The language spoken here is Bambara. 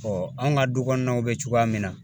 an ka du kɔnɔnaw bɛ cogoya min na ,